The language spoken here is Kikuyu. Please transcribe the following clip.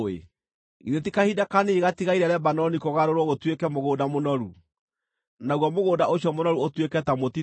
Githĩ ti kahinda kanini gatigaire Lebanoni kũgarũrwo gũtuĩke mũgũnda mũnoru, naguo mũgũnda ũcio mũnoru ũtuĩke ta mũtitũ?